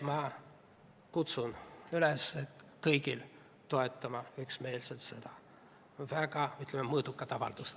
Ma kutsun kõiki üles üksmeelselt toetama seda väga, ütleme, mõõdukat avaldust.